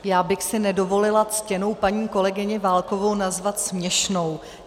Já bych si nedovolila ctěnou paní kolegyni Válkovou nazvat směšnou.